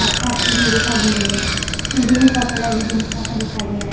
आस-पास सीढ़ी दिखाई दे रही है सीढ़ियों का कलर ग्रीन कलर का दिखाई दे रहा है।